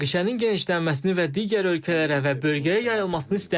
Münaqişənin genişlənməsini və digər ölkələrə və bölgəyə yayılmasını istəmirik.